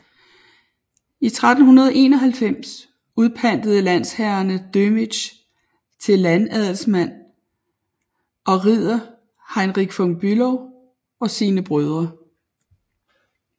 I 1391 udpantede landsherrerne Dömitz til landadelsmand og ridder Heinrich von Bülow og sine brødre